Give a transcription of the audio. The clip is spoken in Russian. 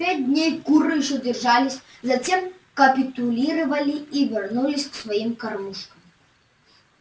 пять дней куры ещё держались затем капитулировали и вернулись к своим кормушкам